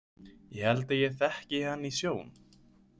Ég held að ég þekki hann í sjón.